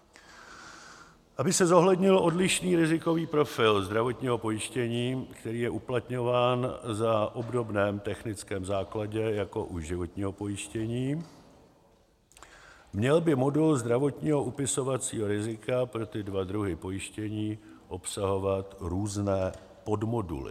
Aby se zohlednil odlišný rizikový profil zdravotního pojištění, který je uplatňován na obdobném technickém základě jako u životního pojištění, měl by modul zdravotního upisovacího rizika pro tyto dva druhy pojištění obsahovat různé podmoduly.